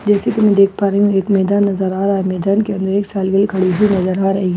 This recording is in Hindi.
जैसे कि मैं देख पा रही हूं एक मैदान नजर आ रहा है मैदान के अंदर एक के खड़ी हुई नजर आ रही है ।